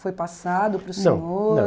Foi passado para o senhor? Não, não